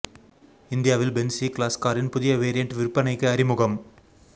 இந்தியாவில் Benz E class காரின் புதிய வேரியண்ட் விற்பனைக்கு அறிமுகம்